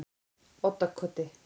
Oddakoti